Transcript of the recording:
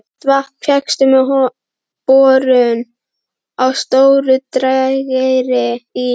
Heitt vatn fékkst með borun á Stóru-Drageyri í